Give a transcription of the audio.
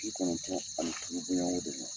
Bi kɔnɔntɔn ani boɲɔngo de la.